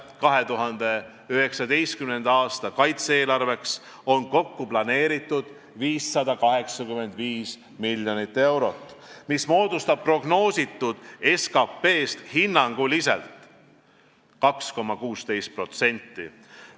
2019. aasta kaitse-eelarveks on kokku planeeritud 585 miljonit eurot, mis moodustab prognoositud SKT-st hinnanguliselt 2,16%.